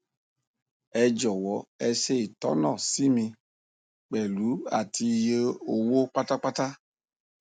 ẹ jọwọ e ṣe itona si mi pẹlu àti iye owó pátápátá